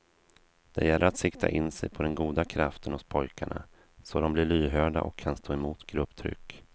Det gäller att sikta in sig på den goda kraften hos pojkarna, så de blir lyhörda och kan stå emot grupptryck.